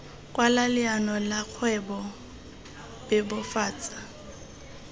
kwala leano la kgwebo bebofatsa